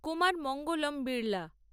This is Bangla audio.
কুমার মঙ্গলম বিরলা